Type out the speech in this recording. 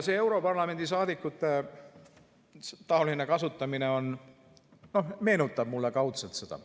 " Europarlamendi saadikute taoline kasutamine meenutab mulle kaudselt seda.